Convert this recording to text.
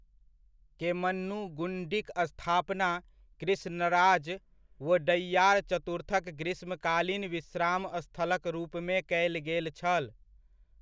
केम्मन्नुगुण्डिक स्थापना कृष्णराज वोडैयार चतुर्थक ग्रीष्मकालीन विश्राम स्थलक रूपमे कयल गेल छल।